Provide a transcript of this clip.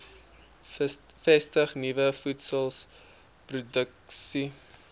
vestig nuwe voedselproduksie